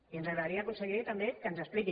i ens agradaria conseller també que ens expliqués